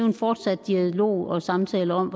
en fortsat dialog og samtale om